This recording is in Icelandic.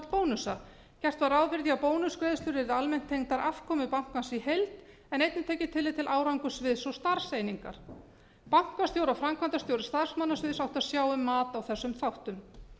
bónusa gert var ráð fyrir því að bónusgreiðslur yrðu almennt tengdar afkomu bankans í heild en einnig tekið tillit til árangurs við starfseiningar bankastjóri og framkvæmdastjóri starfsmannasviðs áttu að sjá um mat á þessum þáttum